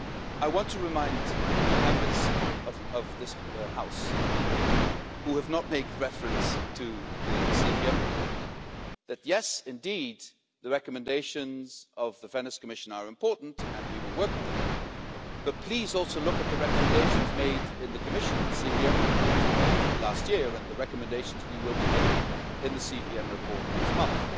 I want to remind the Members of this House who have not made reference to the Cooperation and Verification Mechanism report that, yes indeed, the recommendations of the Venice Commission are important and we will work on them, but please also look at the recommendations made in the Commission's CVM report of last year and the recommendations we will be making in the CVM report next month.